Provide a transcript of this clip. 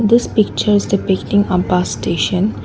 this picture is depicting a bus station.